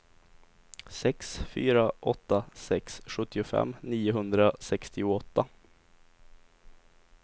sex fyra åtta sex sjuttiofem niohundrasextioåtta